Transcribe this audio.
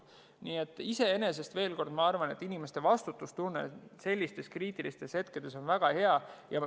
Nii et inimeste vastutustunne sellistel kriitilistel aegadel on väga hea.